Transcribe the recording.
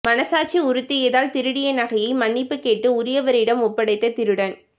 மனசாட்சி உறுத்தியதால் திருடிய நகையை மன்னிப்பு கேட்டு உரியவரிடம் ஒப்படைத்த திருடன்